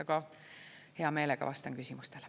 Aga hea meelega vastan küsimustele.